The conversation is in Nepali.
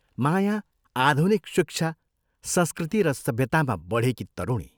माया आधुनिक शिक्षा, संस्कृति र सभ्यतामा बढेकी तरुणी।